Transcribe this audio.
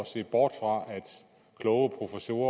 se bort fra at kloge professorer